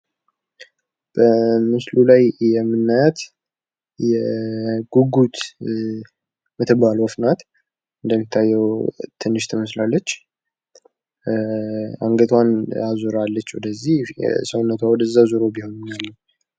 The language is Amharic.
በምስሉ ላይ የምናያት ጉጉት የምትባል ወፍ ናት። እንደሚታየው ትንሽ ትመስላለች። አንገቷን አዙራለች ወደዚህ ሰውነቷ ወደዚያ ዙሮ ቢሆንም ያለው።